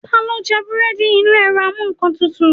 Talo jẹ búredì Inu erò amú nkán tútú